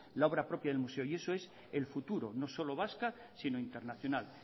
la obra propia del museo y eso es el futuro no solo vasca sino internacional